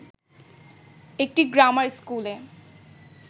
একটি গ্রামার স্কুলে